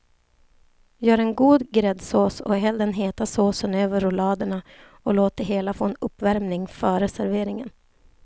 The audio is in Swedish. Gör en god gräddsås och häll den heta såsen över rulladerna och låt det hela få en uppvärmning före serveringen.